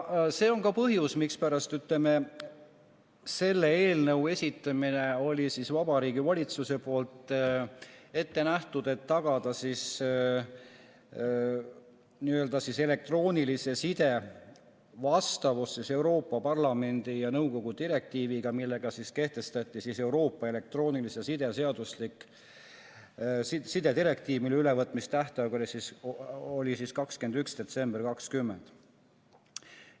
See on ka põhjus, mispärast on Vabariigi Valitsus selle eelnõu esitamise ette näinud – et tagada elektroonilise side vastavus Euroopa Parlamendi ja nõukogu direktiivile, millega kehtestati Euroopa elektroonilise side direktiiv, mille ülevõtmise tähtaeg oli 21. detsember 2020.